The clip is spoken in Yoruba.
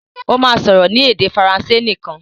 Ó máa sọ̀rọ̀ ní èdè Faransé nìkan.